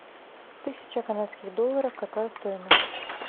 тысяча канадских долларов какая стоимость